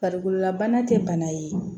Farikololabana tɛ bana ye